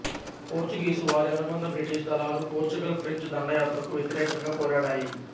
Portuguese వారి అనుబంధ British దళాలు పోర్చుగల్ ఫ్రెంచ్ దండయాత్రకు వ్యతిరేకంగా పోరాడాయి